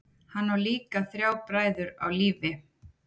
Hann á líka þrjá bræður á lífi.